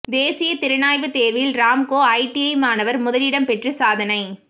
தேசிய திறனாய்வுத் தேர்வில் ராம்கோ ஐடிஐ மாணவர் முதலிடம் பெற்று சாதனை